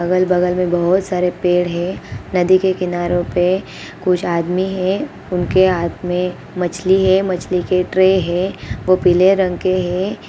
अगल-बगल में बहुत सारे पेड़ हे| नदी के किनारों पे कुछ आदमी हे उनके हाथ में मछली हे| यह मछली की ट्रे हे जो पीले रंग के हे|